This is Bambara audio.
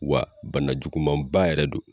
Wa bana juguman ba yɛrɛ don